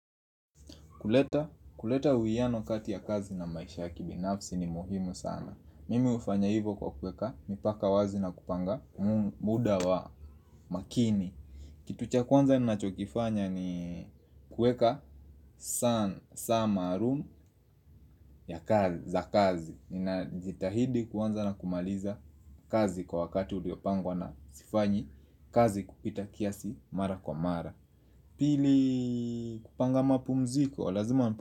Kuleta, kuleta uwiano kati ya kazi na maisha ya kibinafsi ni muhimu sana. Mimi ufanya hivo kwa kuweka, mipaka wazi na kupanga muda wa makini. Kitu cha kwanza ninachokifanya ni kuweka san, saa malum ya kazi, za kazi. Ninajitahidi kuanza na kumaliza kazi kwa wakati uliopangwa na sifanyi, kazi kupita kiasi mara kwa mara. Pili kupanga mapumziko, lazima mapumziko.